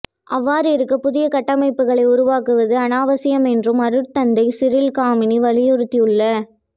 அவ்வாறிருக்க புதிய கட்டமைப்புகளை உருவாக்குவது அநாவசியம் என்றும் அருட்தந்தை சிறில் காமினி வலியுறுத்தியுள்ளா